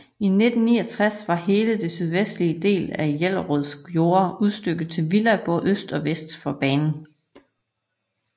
I 1969 var hele den sydvestlige del af Jellerøds jorder udstykket til villaer både øst og vest for banen